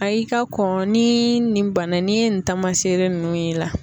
a y'i ka kɔn ni nin bana in n'i ye nin taamasere ninnu ye i la